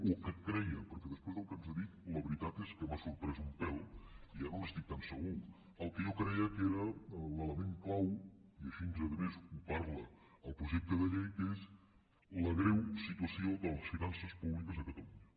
o al que creia perquè després del que ens ha dit la veritat és que m’ha sorprès un pèl i ja no n’estic tan segur al que jo creia que era l’element clau i així a més ho parla el projecte de llei que és la greu situació de les finances públiques a catalunya